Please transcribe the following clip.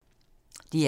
DR2